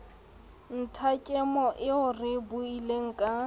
nthakemo eo re buileng ka